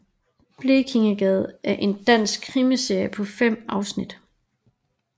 Blekingegade er en dansk krimiserie på fem afsnit